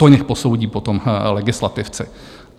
To nechť posoudí potom legislativci.